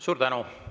Suur tänu!